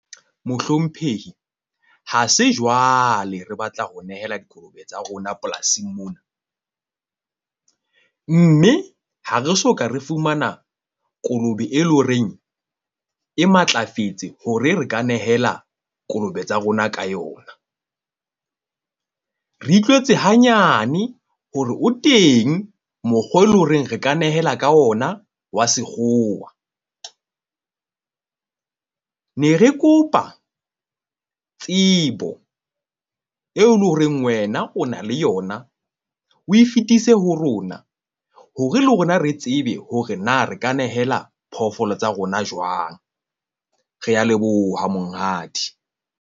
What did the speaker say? Mohlomphehi ha se jwale re batla ho nehela dikolobe tsa rona polasing mona. Mme ha re soka re fumana kolobe, e leng ho reng e matlafetse hore re ka nehela kolobe tsa rona ka yona. Re utlwetse hanyane hore o teng mokgwa e lo reng re ka nehela ka ona wa sekgowa. Ne re kopa tsebo eo le horeng wena o na le yona, o e fetise ho rona, hore le rona re tsebe hore na re ka nehela phoofolo tsa rona jwang. Re a leboha monghadi.